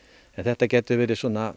þetta getur verið